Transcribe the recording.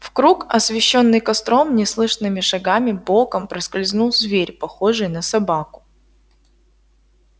в круг освещённый костром неслышными шагами боком проскользнул зверь похожий на собаку